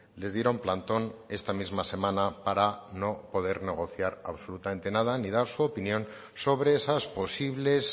les dieron plantón esta misma semana para no poder negociar absolutamente nada ni dar su opinión sobre esas posibles